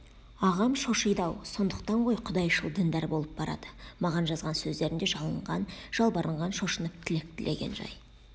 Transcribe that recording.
ағам шошиды-ау сондықтан ғой құдайшыл-діндар болып барады маған жазған сөздерінде жалынған жалбарынған шошынып тілек тілеген жай